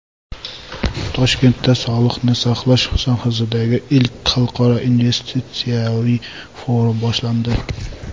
Toshkentda sog‘liqni saqlash sohasidagi ilk xalqaro investitsiyaviy forum boshlandi .